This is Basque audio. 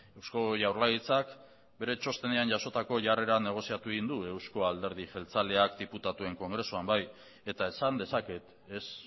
eusko jaurlaritzak bere txostenean jasotako jarrera negoziatu egin du euzko alderdi jeltzaleak diputatuen kongresuan bai eta esan dezaket ez